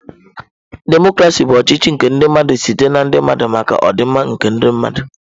Demọcrasị bụ ọchịchị nke ndi mmadu site na ndi mmadu maka ọdịmma nke mmadụ.